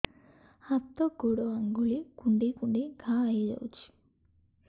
ହାତ ଗୋଡ଼ ଆଂଗୁଳି କୁଂଡେଇ କୁଂଡେଇ ଘାଆ ହୋଇଯାଉଛି